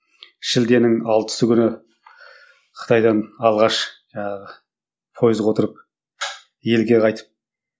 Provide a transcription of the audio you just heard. шілденің алтысы күні қытайдан алғаш жаңағы пойызға отырып елге қайтып